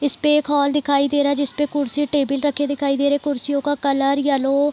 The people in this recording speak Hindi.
इसपे एक हॉल दिखाई दे रहा जिसपे कुर्सी टेबल रखे दिखाई दे रहे कुर्सियों का कलर येलो --